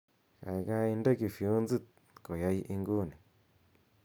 gaigai inde kifyonzit koyai inguni